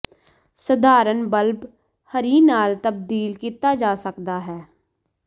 ਸਧਾਰਨ ਬਲਬ ਹਰੀ ਨਾਲ ਤਬਦੀਲ ਕੀਤਾ ਜਾ ਸਕਦਾ ਹੈ